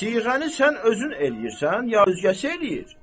Siğəni sən özün eləyirsən, ya özgəsi eləyir?